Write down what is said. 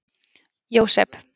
Jósep